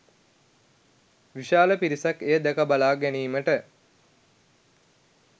විශාල පිරිසක් එය දැකබලා ගැනීමට